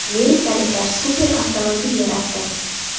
Amerikaliklar super avtomobil yaratdi.